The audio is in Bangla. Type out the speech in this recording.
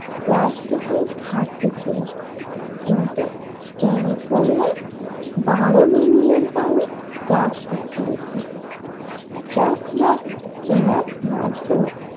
প্লাস্টিকের খাদ্য ছিল কিন্তু ক্যালিফোর্নিয়া বারো মিলিয়ন পাউন্ড প্লাস্টিক কিনেছে ট্রাক মাক কেনার মাধ্যমে ।